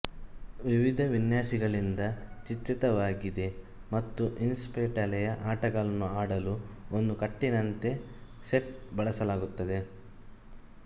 ವಿವಿಧ ವಿನ್ಯಾಸಗಳಿಂದ ಚಿತ್ರಿತವಾಗಿದೆ ಮತ್ತು ಇಸ್ಪೀಟೆಲೆಯ ಆಟಗಳನ್ನು ಆಡಲು ಒಂದು ಕಟ್ಟಿನಂತೆಸೆಟ್ ಬಳಸಲಾಗುತ್ತದೆ